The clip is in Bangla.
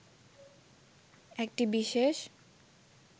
একটি বিশেষ